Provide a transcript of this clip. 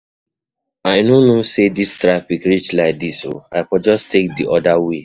I no know say dis traffic reach like dis oo, I for just take the other way